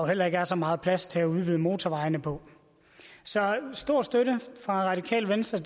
heller ikke er så meget plads til at udvide motorvejene på så stor støtte fra radikale venstre